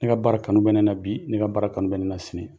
Ne ka baara kanu bɛ ne na bi ne ka baara kanu bɛ ne na sini